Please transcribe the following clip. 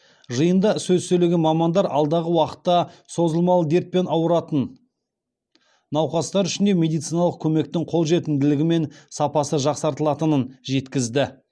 жиында сөз сөйлеген мамандар алдағы уақытта созылмалы дертпен аурыратын науқастар үшін де медициналық көмектің қолжетімділігі мен сапасы жақсартылатынын жеткізді